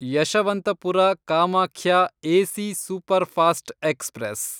Yeshwanthpur Kamakhya AC superfast express